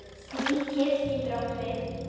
Sníkill getur átt við